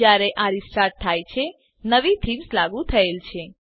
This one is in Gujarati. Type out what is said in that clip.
જયારે આ રીસ્ટાર્ટ થાય છે નવી થીમ્સ લાગુ થયેલ છે